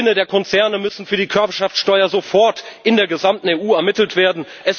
Die Gewinne der Konzerne müssen für die Körperschaftssteuer sofort in der gesamten EU ermittelt werden.